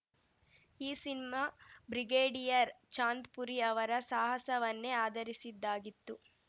ಈ cinema brigadier Chandpuri ಅವರ ಸಾಹಸವನ್ನೇ ಆಧರಿಸಿದ್ದಾಗಿತ್ತು